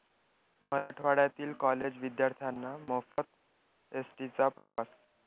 मराठवाड्यातील कॉलेज विद्यार्थ्यांना मोफत एसटीचा प्रवास